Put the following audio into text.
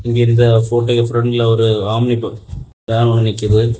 இங்க இந்த ஃபோட்டோக்கு பிரண்ட்ல ஒரு ஆம்னி ப வேன் ஒன்னு நிக்குது.